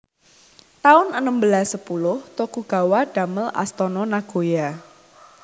taun enem belas sepuluh Tokugawa damel Astana Nagoya